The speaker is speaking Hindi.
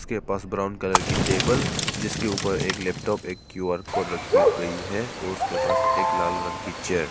इसके पास ब्राउन कलर की टेबल जिसके ऊपर एक लैपटॉप एक क्यू_आर कोड रखी गई है उसके पास एक लाल रंग की चेयर --